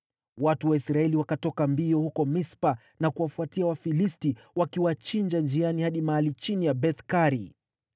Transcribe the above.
Watu wa Israeli wakatoka mbio huko Mispa na kuwafuatia Wafilisti, wakiwachinja njiani hadi mahali chini ya Beth-Kari.